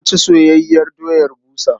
Za mu ci soyayyiyar doya busa.